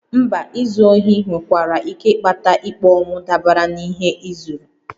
Mba, izu ohi nwekwara ike ịkpata ikpe ọnwụ dabere n'ihe ị zuru